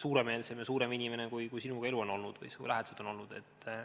suuremeelsem ja suurem inimene, kui elu või sinu lähedased on olnud sinu endaga.